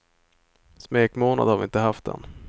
Smekmånad har vi inte haft än.